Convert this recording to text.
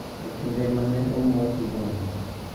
e kinde ma ne omuoch mbom.